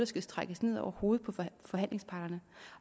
skal trækkes ned over hovedet på forhandlingsparterne